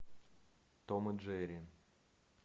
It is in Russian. том и джерри